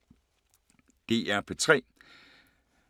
DR P3